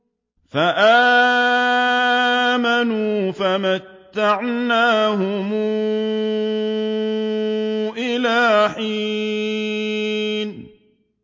فَآمَنُوا فَمَتَّعْنَاهُمْ إِلَىٰ حِينٍ